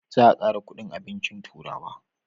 Za a kara kudin abincin turawa